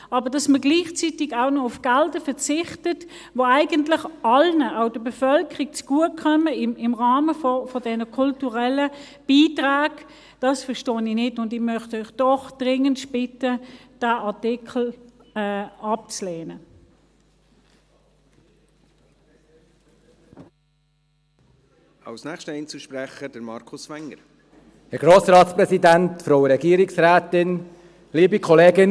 Aber dass man gleichzeitig auch noch auf Gelder verzichtet, die eigentlich allen zugutekommen, auch der Bevölkerung, im Rahmen der kulturellen Beiträge, das verstehe ich nicht, und ich möchte Sie doch dringendst bitten, diesen Artikel abzulehnen.